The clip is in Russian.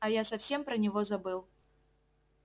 а я совсем про него забыл